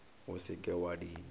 o se ke wa di